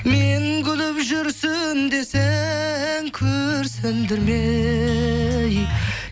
мен күліп жүрсем де сен күрсіндірме ей